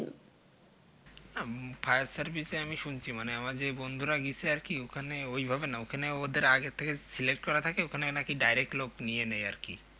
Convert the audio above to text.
উম Fire service এ আমি শুনছি মানে আমার যে বন্ধুরা গিছে আরকি ওখানে ওইভাবে না ওখানে ওদের আগে থেকে Select করা থাকে দোকানে নাকি Direct লোক নিয়ে নেয়